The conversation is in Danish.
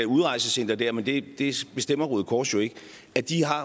udrejsecenter der men det bestemmer røde kors jo ikke